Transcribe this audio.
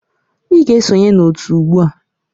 Ị ga-esonye na otu ugbu a!